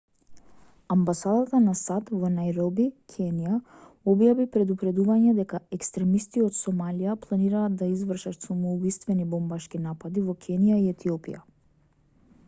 амбасадата на сад во најроби кенија објави предупредување дека екстремисти од сомалија планираат да извршат самоубиствени бомбашки напади во кенија и етиопија